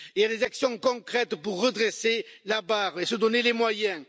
Il y a des actions concrètes pour redresser la barre et se donner les moyens.